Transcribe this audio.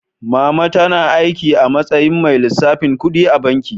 Mama tana aiki a matsayin mai lissafin kuɗi a banki.